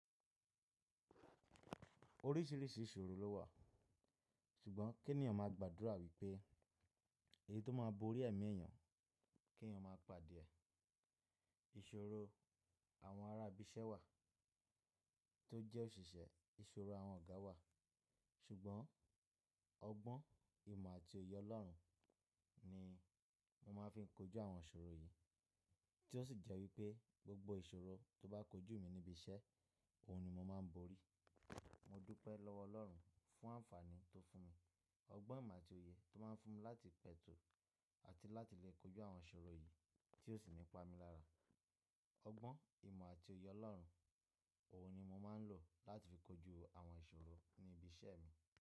Oríṣìíríṣìí ìṣòro ló wà, ṣùgbọ́n kí ènìyàn máa gbàdúrà wípé èyí tó máa borí ẹ̀mí èèyàn kí ènìyàn má pàde ẹ̀. Ìṣòro àwọn ará ibi iṣẹ́ wà, tó jẹ́ òṣìṣẹ́, ìṣòro àwọn ọ̀gá wà. Ṣùgbọ́n ọgbọ́n, ìmọ̀ àti òye Ọlọ́run ni mo máa ń fi kojú àwọn ìṣòro yìí tí ó sì jẹ́ wípé gbogbo ìṣòro tó bá kojú mi níbi iṣẹ́, òun ni mo máa ń borí. Mo dúpẹ́ lọ́wọ Ọlọ́run fún àǹfààní tó fún mi, ọgbọ́n, ìmọ̀ àti òye tó máa ń fún mi láti pẹ̀tù àti láti lè kojú àwọn ìṣòro yìí tí ó sì nípa mi lára. Ọgbọ́n, ìmọ̀ àti òye Ọlọ́run, òun ni mo máa ń lò láti fi kojú àwọn ìṣòro ní ibi iṣẹ́ mi.